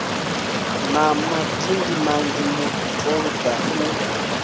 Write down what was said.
na madindi manzhi mutoga u